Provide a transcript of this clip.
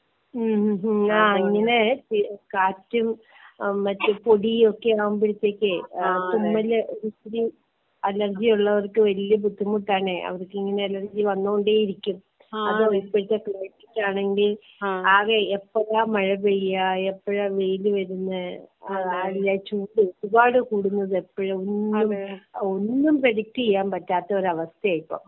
ആ ഉം മറ്റേ കാറ്റും മറ്റേ പൊടി ഒക്കെ ആവുമ്പോഴ്ത്തേക്ക് തുമ്മൽ അലര്ജി ഉള്ളവർക്ക് വല്യ ബുദ്ധിമുട്ടാണ് അവർക്ക് ഇങ്ങനെ അലർജി വന്നൊണ്ടെ ഇരിക്കും, അത് ഇപ്പോഴത്തെ ക്ലൈമറ്റ് ആണെങ്കി ആകെ എപ്പോഴാ മഴ പെയ്യാ, എപ്പോഴാ വെയിൽ വരുന്നേ, അതിന്റെ ചൂട് ഒരുപാട് കൂടുന്നത് എപ്പോഴ് ഒന്നും ഒന്നും പ്രെഡിക്റ്റ് ചെയ്യാൻ പറ്റാത്ത ഒരു അവസ്ഥയ ഇപ്പൊ.